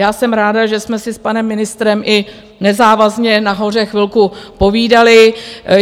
Já jsem ráda, že jsme si s panem ministrem i nezávazně nahoře chvilku povídali.